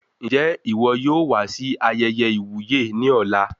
Njẹ iwọ yóò wá sí ayẹyẹ iwuye ní ọ̀la?